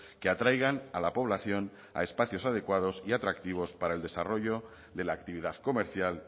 que atraigan a la población a espacios adecuados y atractivos para el desarrollo de la actividad comercial